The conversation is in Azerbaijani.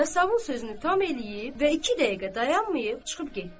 Yasavul sözünü tam eləyib və iki dəqiqə dayanmayıb çıxıb getdi.